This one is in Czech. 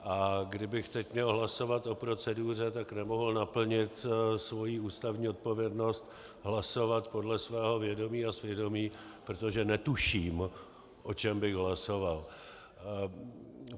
A kdybych teď měl hlasovat o proceduře, tak nemohu naplnit svoji ústavní odpovědnost hlasovat podle svého vědomí a svědomí, protože netuším, o čem bych hlasoval.